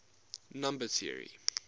number theory